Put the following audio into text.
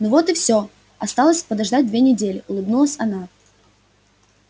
ну вот и все осталось подождать две недели улыбнулась она